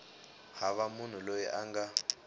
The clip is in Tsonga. hava munhu loyi a nga